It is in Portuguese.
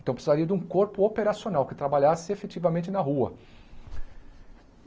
Então precisaria de um corpo operacional que trabalhasse efetivamente na rua.